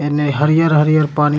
एने हरियर-हरियर पानी --